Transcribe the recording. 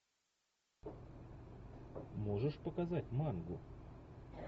можешь показать мангу